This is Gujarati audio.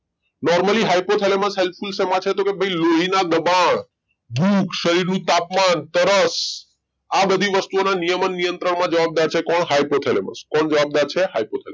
Normallyhypothalamus ની help શેમાં છે તો ભાઈ લોહીના દબાણ ભૂખ શરીરનું તાપમાન તરસ આ બધી વસ્તુઓના નિયમન નિયંત્રણમાં જવાબદાર છે કોણ hypothalamus કોણ જવાબદાર છે hypothalamus